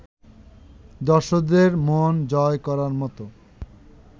দর্শকদের মন জয় করার মতো